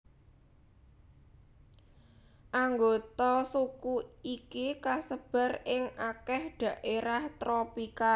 Anggota suku iki kasebar ing akèh dhaérah tropika